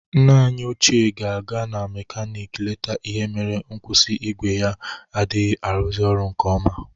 Nna anyị ochie ga-aga ka mekanik lete ihe mere nkwusi igwe ya adịghị arụzị ọrụ nke ọma